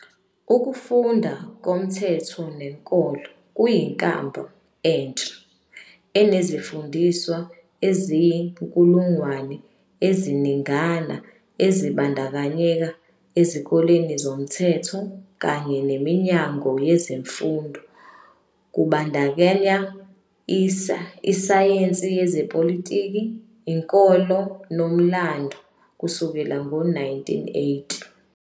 Ukufundwa komthetho nenkolo kuyinkambu entsha, enezifundiswa eziyizinkulungwane eziningana ezibandakanyeka ezikoleni zomthetho, kanye neminyango yezemfundo kubandakanya isayensi yezepolitiki, inkolo nomlando kusukela ngo-1980.